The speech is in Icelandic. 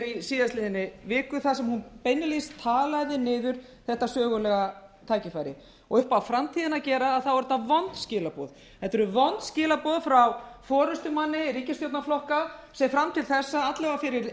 í síðastliðnum viku þar sem hún beinlínis talaði niður þetta sögulega tækifæri upp á framtíðina að gera eru þetta vond skilaboð þetta eru vond skilaboð frá forustumanni ríkisstjórnarflokka sem fram til þessa og alla vega fyrir